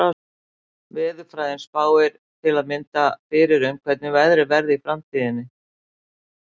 Veðurfræðin spáir til að mynda fyrir um hvernig veðrið verði í framtíðinni.